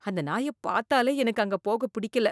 அந்த நாயப் பாத்தாலே எனக்கு அங்கப் போகப் பிடிக்கல‌